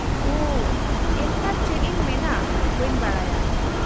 -ᱳᱺ, ᱮᱱᱠᱷᱟᱱ ᱪᱮᱫ ᱤᱧ ᱢᱮᱱᱟ ᱵᱟᱹᱧ ᱵᱟᱰᱟᱭᱟ ᱾